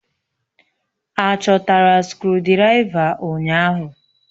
Achọtara skrụdiraiva ụnyahụ?